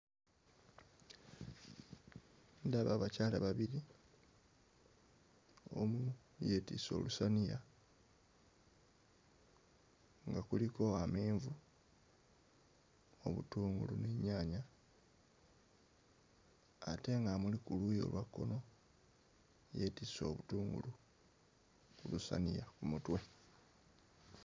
Ndaba abakyala babiri omu yeetisse olusaniya nga kuliko amenvu, obutungulu n'ennyaanya ate ng'amuli ku luuyi olwa kkono yeetisse obutungulu ku lusaniya ku mutwe.